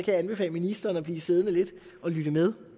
jeg anbefale ministeren at blive siddende lidt og lytte med